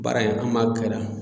Baara in an m'a kɛra.